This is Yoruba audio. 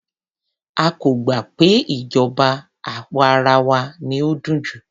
A kò gbà pé ìṣèjọba àwa arawa ni ó dùn jù.